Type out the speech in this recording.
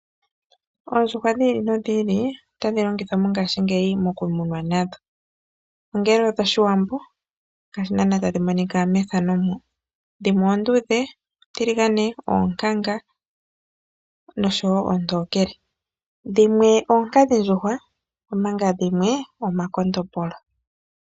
Oondjuwa dhi li nodhi ili, otadhi longithwa mo ngaashi ngeyi mokumunwa nadho. Dhimwe oonduudhe, oontiligane, oonkanga noshowo oontokele. Dhimwe oonkadhi-ndjuhwa omanga dhimwe omakondombolo.